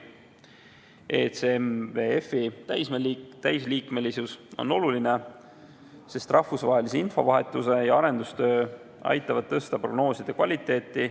ECMWF-i täisliikmesus on oluline, sest rahvusvaheline infovahetus ja arendustöö aitavad tõsta prognooside kvaliteeti.